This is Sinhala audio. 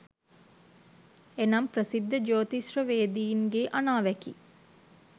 එනම් ප්‍රසිද්ධ ජෝතිෂ්‍යවේදීන්ගේ අනාවැකි